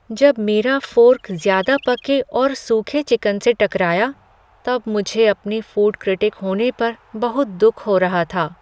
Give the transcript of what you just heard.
जब मेरा फ़ोर्क ज़्यादा पके और सूखे चिकन से टकराया तब मुझे अपने फ़ूड क्रिटिक होने पर बहुत दुख हो रहा था।